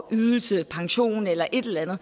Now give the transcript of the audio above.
ydelse pension eller et eller andet